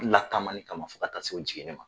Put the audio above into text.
Lataamani kama ani ka taa se jigini ma..